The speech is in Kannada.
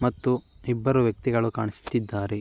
ಮತ್ತು ಇಬ್ಬರು ವ್ಯಕ್ತಿಗಳು ಕಾಣಿಸುತ್ತಿದ್ದಾರೆ.